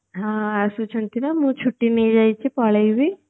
ହଁ ଆସୁଛନ୍ତି ନା ମୁଁ ଛୁଟି ନେଇଯାଇଛି ପଳେଇବି